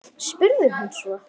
spurði hún svo.